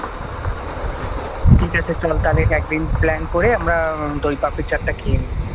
ঠিক আছে চল তাহলে একদিন আমরা plan করে দই পাপরি চাট টা খেয়ে নিই।